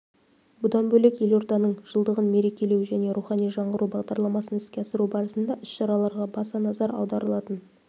бұдан бөлек елорданың жылдығын мерекелеу және рухани жаңғыру бағдарламасын іске асыру барысында іс-шараларға баса назар аударылатын